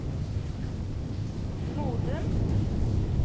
Modum